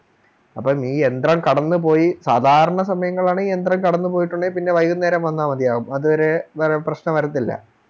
അപ്പോം ഈ യന്ത്രം കടന്നു പോയി സാധാരണ സമയങ്ങളിലാണെ ഈ യന്ത്രം കടന്നു പോയിട്ടുള്ളെൽ പിന്നെ വൈകുന്നേരം വന്നാൽ മതിയാവും അത് വരെ പ്രശ്നം വരത്തില്ല